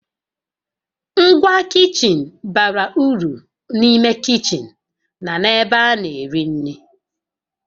Ngwa kichin bara uru n'ime kichin na n'ebe a na-eri nri